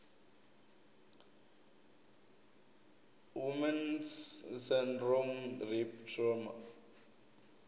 woman s syndrome rape trauma